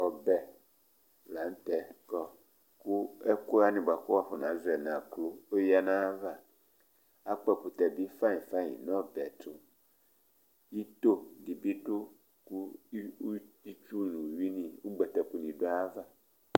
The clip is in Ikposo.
Ɔbɛ la ntɛ kɔ kʋ ekʋwani kʋ wafɔna zɔ nʋ aklo ɔya nʋ ayʋ ava Akpɔ ɛkʋtɛ bi fayi fayi nʋ ɔbɛ yɛ tu Itoo di bi du kʋ itsʋ nʋ ʋwʋi ni du ayʋ ava